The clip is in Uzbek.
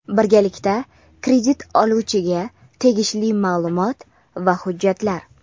birgalikda kredit oluvchiga tegishli maʼlumot va hujjatlar.